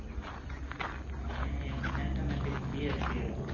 એને mathematics bsc હતું